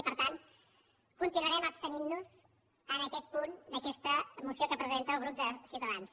i per tant continuarem abstenint nos en aquest punt d’aquesta moció que presenta el grup de ciutadans